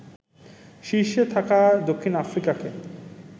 শীর্ষে থাকা দক্ষিণ আফ্রিকাকে